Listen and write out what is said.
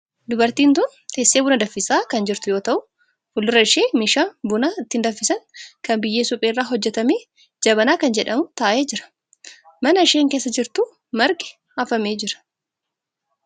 Dubartiin tun teessee buna danfisaa kan jirtu yoo ta'u fuuldura ishee meeshaan buna ittiin danfisan kan biyyee suphee irraa hojjetame jabanaa kan jedhamu taa'ee jira. mana isheen keessa jirtu margi afamee jira.